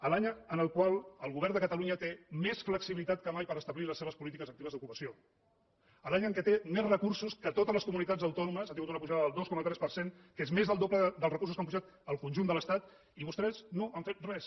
l’any en el qual el govern de catalunya té més flexibilitat que mai per establir les seves polítiques actives d’ocupació l’any en què té més recursos que totes les comunitats autònomes ha tingut una pujada del dos coma tres per cent que és més del doble dels recursos que han pujat al conjunt de l’estat i vostès no han fet res